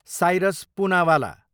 Cyrus Poonawalla